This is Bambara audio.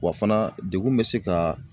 Wa fana degun bɛ se ka